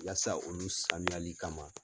Yasa olu sanuyali kama.